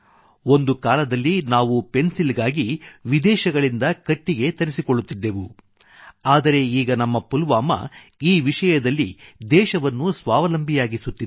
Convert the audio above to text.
ಒಂದು ಕಾಲದಲ್ಲಿ ನಾವು ಪೆನ್ಸಿಲ್ ಗಾಗಿ ವಿದೇಶಗಳಿಂದ ಕಟ್ಟಿಗೆ ತರಿಸಿಕೊಳ್ಳುತ್ತಿದ್ದೆವು ಆದರೆ ಈಗ ನಮ್ಮ ಪುಲ್ವಾಮಾ ಈ ವಿಷಯದಲ್ಲಿ ದೇಶವನ್ನು ಸ್ವಾವಲಂಬಿಯಾಗಿಸುತ್ತಿದೆ